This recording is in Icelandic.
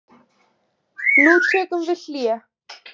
Gleymið því hvort þið eruð topp leikmenn eða venjulegir leikmenn.